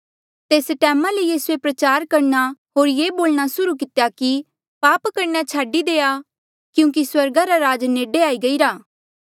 तेस टैमा ले यीसूए प्रचार करणा होर ये बोलणा सुर्हू कितेया कि पाप करणा छाडी देआ क्यूंकि स्वर्गा रा राज नेडे आई गईरा